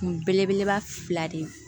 Kun belebeleba fila de